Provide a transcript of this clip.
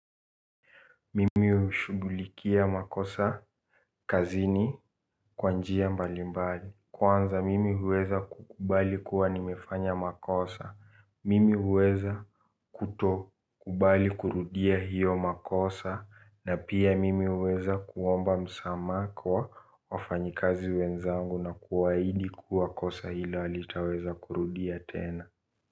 Mimi ushugulikia makosa kazini kwa njia mbalimbali. Kwanza mimi huweza kukubali kuwa nimefanya makosa. Mimi huweza kuto kubali kurudia hiyo makosa. Na pia mimi huweza kuomba msama kwa wafanyikazi wenzangu na kuwaidi kuwa kosa hila halitaweza kurudia tena.